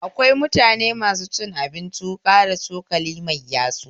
Akwai mutane masu cin abinci wuƙa da cokali mai yatsu